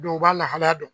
Dɔw b'a lahalaya dɔn